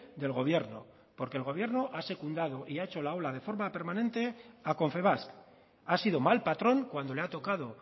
del gobierno porque el gobierno ha secundado y ha hecho la ola de forma permanente a confebask ha sido mal patrón cuando le ha tocado